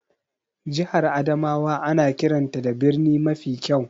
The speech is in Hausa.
Jihar Adamawa ana kiranta da birni mafi kyau.